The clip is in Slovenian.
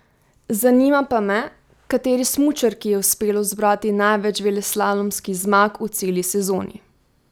Zanima pa me, kateri smučarki je uspelo zbrati največ veleslalomskih zmag v celi sezoni?